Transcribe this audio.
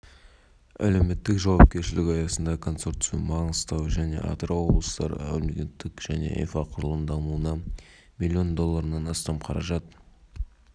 жолдасбек егемен қазақстан қашағанды игерудің нәтижесінде әлемдік стандарттарға сай келетін отандық теңіз сервистік инфрақұрылымы салынды қазіргі